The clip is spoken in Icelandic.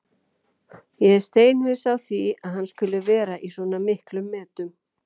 Ég er steinhissa á því að hann skuli vera í svona miklum metum.